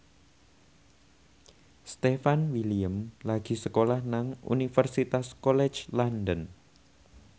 Stefan William lagi sekolah nang Universitas College London